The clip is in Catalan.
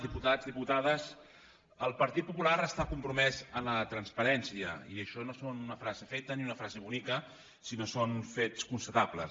diputats diputades el partit popular està compromès amb la transparència i això no és una frase feta ni una frase bonica sinó que són fets constatables